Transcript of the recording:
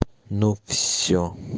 ну всё